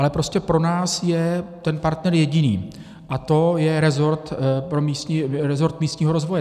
Ale prostě pro nás je ten partner jediný, a to je resort místního rozvoje.